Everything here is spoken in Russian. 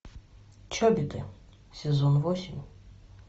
чобиты сезон восемь